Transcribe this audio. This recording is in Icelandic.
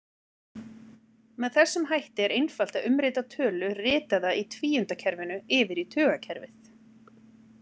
Með þessum hætti er einfalt að umrita tölu ritaða í tvíundakerfinu yfir í tugakerfið.